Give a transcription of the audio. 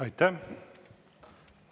Aitäh!